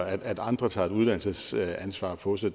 at andre tager et uddannelsesansvar på sig